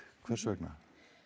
hvers vegna